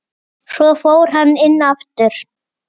Svo fór hann inn aftur.